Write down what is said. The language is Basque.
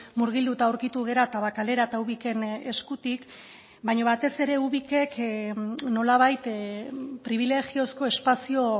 murgilduta aurkitu gara tabakalera eta ubiken eskutik baina batez ere ubik nolabait pribilegiozko espazio